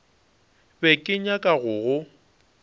be ke nyaka go go